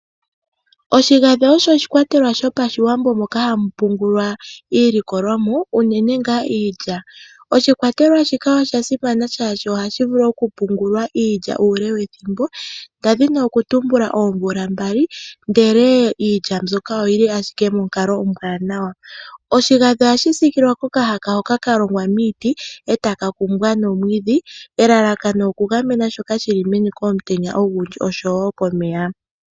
Oshigandhi osho oshikwatelwa shopashiwambo moka hamu pungulwa iilikolwamo, unene ngaa iilya. Oshikwatelwa shika osha simana shaashi ohashi vulu okupingiliwa iilya uule wethimbo, ndadhini okutumbula oomvula mbali ndele iilya mbyoka oyili ashike monkalo ombwaanawa. Oshigandhi ohashi siikilwa nokahaka hoka ka longwa miiti, e taka kumbwa nomwiidhi. Elalakano oku gamena shoka shili meni komutenya ogundji oshowo komeya.